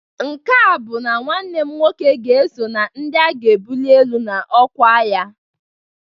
nke a bụ nwanne m nwoke ga-eso na ndị a ga-ebuli elu n'ọkwa agha